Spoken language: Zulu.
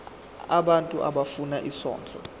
abantu abafuna isondlo